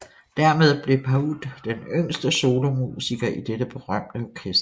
Dermed blev Pahud den yngste solomusiker i dette berømte orkester